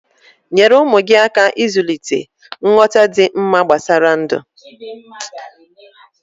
Nyere ụmụ gi aka ịzulịte nghọta dị mma gbasara ndụ